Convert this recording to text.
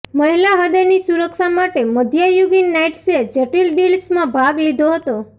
મહિલા હૃદયની સુરક્ષા માટે મધ્યયુગીન નાઈટ્સે જટિલ ડીલ્સમાં ભાગ લીધો હતો